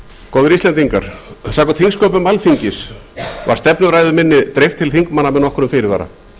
góðir íslendingar samkvæmt þingsköpum alþingis var stefnuræðu minni dreift til þingmanna með nokkrum fyrirvara